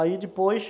Aí depois,